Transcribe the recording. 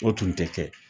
O tun tɛ kɛ